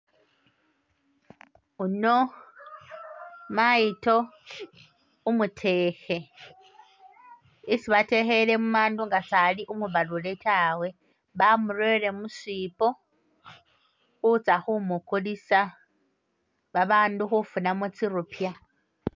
Ono mayito umutekhe isi batekhele mumandu nga sali umubalule tawe, bamurere musipo khutsa khu mukulisa babandu khufunamo tsi rupya